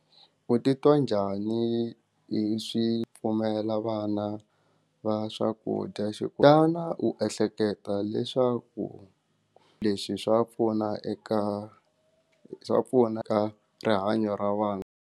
U titwa njhani hi swi pfumela vana va swakudya xana u ehleketa leswaku leswi swa pfuna eka swa pfuna ka rihanyo ra vana?